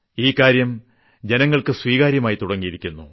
ഈ കാര്യം ജനങ്ങൾക്ക് സ്വീകാര്യമായി തുടങ്ങിയിരിക്കുന്നു